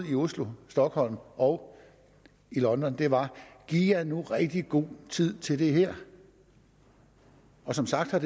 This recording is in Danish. oslo stockholm og london var giv jer nu rigtig god tid til det her og som sagt har